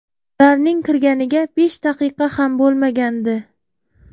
Ularning kirganiga besh daqiqa ham bo‘lmagandi.